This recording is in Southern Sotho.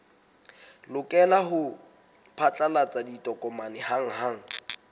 lokela ho phatlalatsa ditokomane hanghang